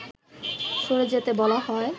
সরে যেতে বলা হয়